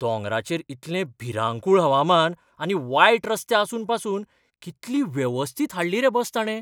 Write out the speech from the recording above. दोंगरांचेर इतलें भिरांकूळ हवामान आनी वायट रस्ते आसून पासून कितली वेवस्थीत हाडली रे बस ताणे.